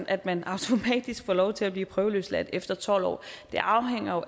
at man automatisk får lov til at blive prøveløsladt efter tolv år det afhænger jo